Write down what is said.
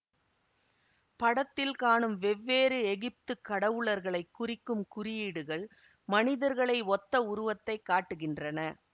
படத்தில் காணும் வெவ்வேறு எகிப்துக் கடவுளர்களைக் குறிக்கும் குறியீடுகள் மனிதர்களை ஒத்த உருவத்தைக் காட்டுகின்றன